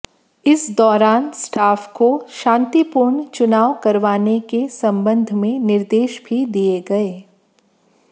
इस दौरान स्टाफ को शांतिपूर्ण चुनाव करवाने के संबंध में निर्देश भी दिए गए